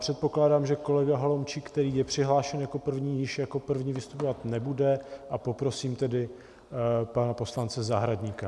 Předpokládám, že kolega Holomčík, který je přihlášen jako první, již jako první vystupovat nebude, a poprosím tedy pana poslance Zahradníka.